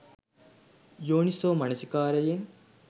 යෝනිසෝ මනසිකාරයෙන්